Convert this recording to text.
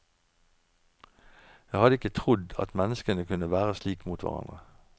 Jeg hadde ikke trodd at menneskene kunne være slik mot hverandre.